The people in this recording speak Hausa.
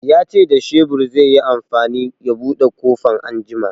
Ya ce da shebur zai yi amfani ya buɗe ƙofan anjima